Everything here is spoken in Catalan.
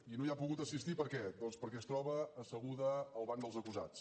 i no hi ha pogut assistir per què doncs perquè es troba asseguda al banc dels acusats